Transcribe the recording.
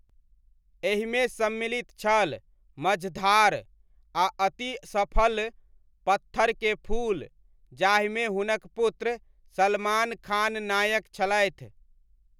एहिमे सम्मिलित छल 'मझधार' आ अति सफल 'पत्थर के फूल' जाहिमे हुनक पुत्र सलमान खान नायक छलथि।